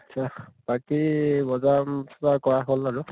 আত্চ্ছা । বাকী বজাৰ কৰা উম কিবা কৰা হʼল বাৰু ।